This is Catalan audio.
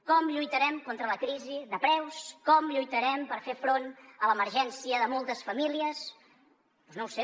com lluitarem contra la crisi de preus com lluitarem per fer front a l’emergència de moltes famílies doncs no ho sé